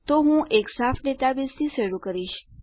તો હું એક સાફ ડેટાબેઝથી શરૂ કરીશ